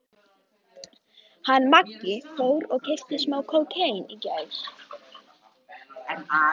Hún skipaði Eddu að koma með sér inn á klósett.